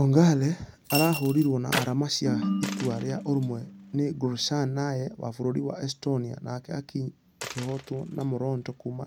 Ongare arahũrirwo na arama cia itua rĩa ũrũmwe nĩ gorishnaya wa bũrũri wa estonia nake akinyi akĩhotwo na moronto kuuma